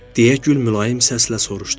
Deyə gül mülayim səslə soruşdu.